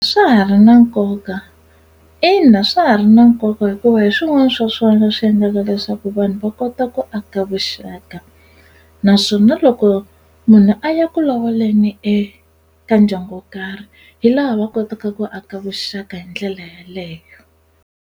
Swa ha ri na nkoka ina swa ha ri na nkoka hikuva hi swin'wana swa swona swi endlaka leswaku vanhu va kota ku aka vuxaka naswona loko munhu a ya ku lovoleni eka ndyangu wo karhi hi laha va kotaka ku aka vuxaka hi ndlela yaleyo.